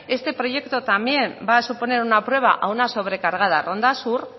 este proyecto también va a suponer una prueba a una sobrecargada ronda sur